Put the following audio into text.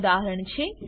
ના ઉદાહરણ છે